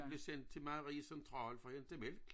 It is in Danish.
Blev sent til Marie central for at hente mælk